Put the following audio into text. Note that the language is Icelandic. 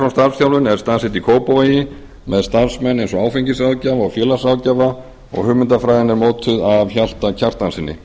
starfsþjálfun er staðsett í kópavogi með starfsmenn eins og áfengisráðgjafa og félagsráðgjafa og hugmyndafræði er mótuð af hjalta kjartanssyni